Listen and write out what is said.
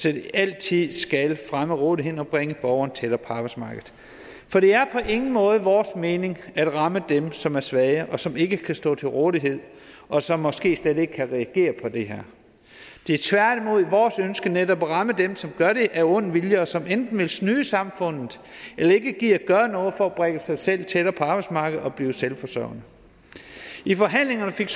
at det altid skal fremme rådigheden og bringe borgerne tættere på arbejdsmarkedet for det er på ingen måde vores mening at ramme dem som er svage og som ikke kan stå til rådighed og som måske slet ikke kan reagere på det her det er tværtimod vores ønske netop at ramme dem som gør det af ond vilje og som enten vil snyde samfundet eller ikke gider gøre noget for at bringe sig selv tættere på arbejdsmarkedet og blive selvforsørgende i forhandlingerne fik